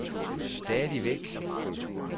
stadigvæk